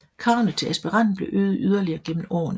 Kravene til aspiranten blev øget yderligere gennem årene